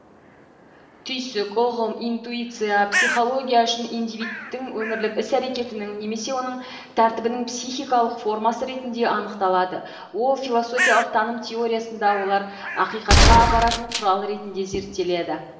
түйсік ұғым интуиция психология үшін индивидтің өмірлік іс әрекетінің немесе онық тәртібінің психикалық формасы ретінде анықталады ол философиялық таным теориясында олар ақиқатқа апаратын құрал ретінде зерттеледі